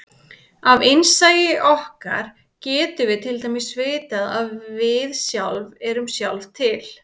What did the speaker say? Af innsæi okkar getum við til dæmis vitað að við sjálf erum sjálf til.